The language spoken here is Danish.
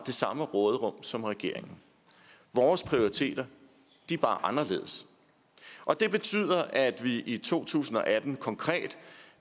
samme råderum som regeringen vores prioriteter er bare anderledes og det betyder at vi i to tusind og atten konkret